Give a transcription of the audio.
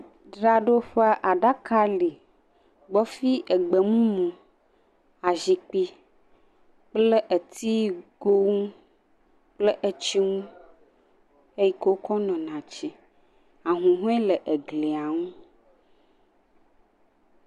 Dzraɖoƒe aɖaka li gbɔfi egbe mumu, azikpui kple etigo nu kple etsi nu eyi ke wokɔ nona etsi. Ahũhɔe le eglia nu.